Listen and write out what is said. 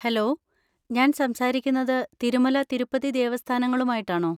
Hello! ഞാൻ സംസാരിക്കുന്നത് തിരുമല തിരുപ്പതി ദേവസ്ഥാനങ്ങളുമായിട്ടാണോ?